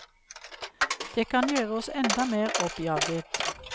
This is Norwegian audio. Det kan gjøre oss enda mer oppjaget.